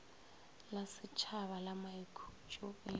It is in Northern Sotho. la šetšhaba la maikhutšo e